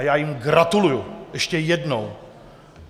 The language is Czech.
A já jim gratuluji ještě jednou.